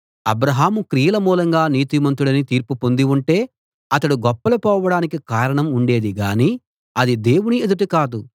అబ్రాహాము క్రియల మూలంగా నీతిమంతుడని తీర్పు పొంది ఉంటే అతడు గొప్పలు పోవడానికి కారణం ఉండేది గానీ అది దేవుని ఎదుట కాదు